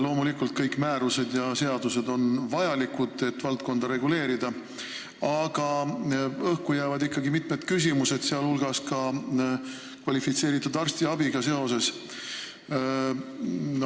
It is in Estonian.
Loomulikult on kõik määrused ja seadused vajalikud, et valdkonda reguleerida, aga õhku jäävad ikkagi mitmed küsimused, sh kvalifitseeritud arstiabiga seoses.